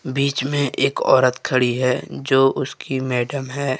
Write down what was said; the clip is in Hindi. बीच में एक औरत खड़ी है जो उसकी मैडम है।